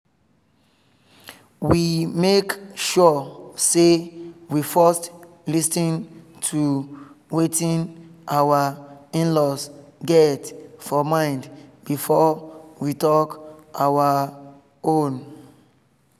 we make sure say we first lis ten to wetin our in-laws get for mind before we talk our own